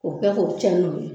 O kɛ k'o cɛ ni muru ye